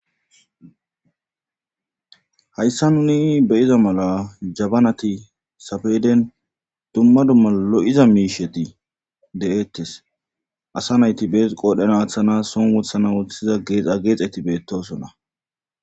hayssa nuni beyiza mala jabanati safeden dumma dumma lo'iza miisheti de'eettes asa nayti bees qoodhena aaththana son wothana woththiza geexa geexeti beettosonna